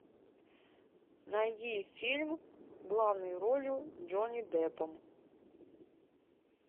найди фильм главной ролью джонни деппом